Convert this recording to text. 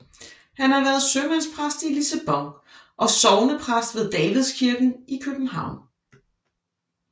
Han har været sømandspræst i Lissabon og sognepræst ved Davidskirken i København